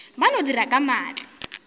ba no dira ka maatla